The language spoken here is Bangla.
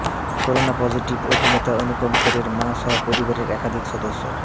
করোনা পজিটিভ অভিনেতা অনুপম খেরের মা সহ পরিবারের একাধিক সদস্য